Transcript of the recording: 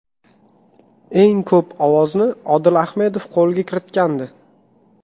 Eng ko‘p ovozni Odil Ahmedov qo‘lga kiritgandi.